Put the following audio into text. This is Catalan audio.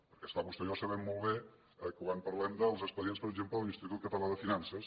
perquè és clar vostè i jo sabem molt bé quan parlem dels expedients per exemple de l’institut català de finances